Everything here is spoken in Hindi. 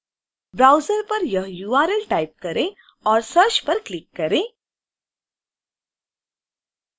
ब्राउज़र पर यह url टाइप करें और सर्च पर क्लिक करें